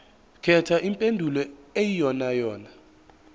khetha impendulo eyiyonayona